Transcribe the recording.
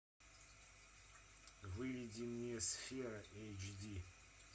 выведи мне сфера эйч ди